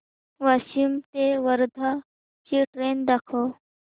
वाशिम ते वर्धा ची ट्रेन दाखव